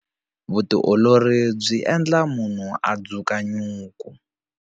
Vutiolori byi endla munhu a dzuka nyuku.